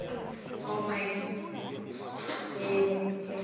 ég meinti hinn.